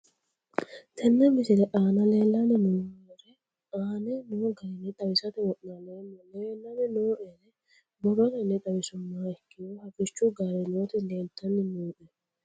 Tene misile aana leelanni nooerre aane noo garinni xawisate wonaaleemmo. Leelanni nooerre borrotenni xawisummoha ikkiro harichchu gaare nooti leeltanni nooe.